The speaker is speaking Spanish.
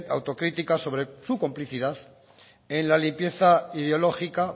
autocrítica sobre su complicidad en la limpieza ideológica